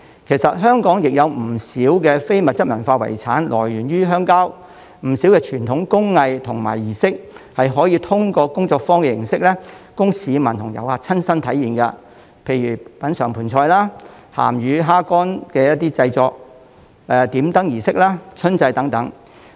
其實，香港亦有不少非遺來源於鄉郊，不少傳統工藝和儀式是可以通過工作坊形式供市民和遊客親身體驗，例如品嘗盆菜、製作鹹魚蝦乾、參與點燈儀式、春祭等。